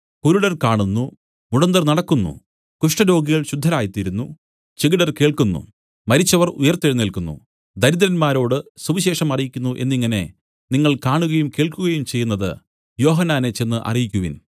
കുരുടർ കാണുന്നു മുടന്തർ നടക്കുന്നു കുഷ്ഠരോഗികൾ ശുദ്ധരായ് തീരുന്നു ചെകിടർ കേൾക്കുന്നു മരിച്ചവർ ഉയിർത്തെഴുന്നേല്ക്കുന്നു ദിരദ്രന്മാരോട് സുവിശേഷം അറിയിക്കുന്നു എന്നിങ്ങനെ നിങ്ങൾ കാണുകയും കേൾക്കുകയും ചെയ്യുന്നതു യോഹന്നാനെ ചെന്ന് അറിയിക്കുവിൻ